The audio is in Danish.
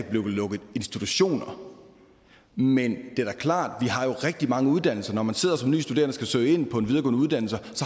bliver lukket institutioner men det er da klart at rigtig mange uddannelser når man sidder som nye studerende og skal søge ind på en videregående uddannelse